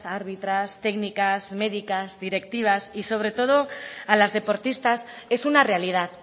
árbitras técnicas médicas directivas y sobre todo a las deportistas es una realidad